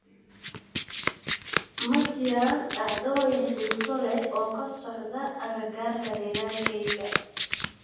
ma jiraan dhacdooyin xiiso leh oo ka socda agagaarka deegaankayga